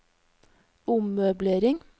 ommøblering